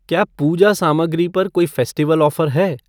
क्या पूजा सामग्री पर कोई फ़ेस्टिवल ऑफ़र है?